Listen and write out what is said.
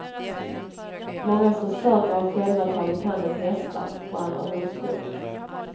Många som söker har själva tagit hand om hästar och andra husdjur.